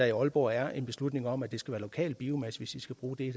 i aalborg er en beslutning om at det skal være lokal biomasse hvis de skal bruge det